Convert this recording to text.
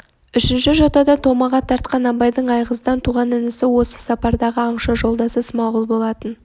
үшінші жотада томаға тартқан абайдың айғыздан туған інісі осы сапардағы аңшы жолдасы смағұл болатын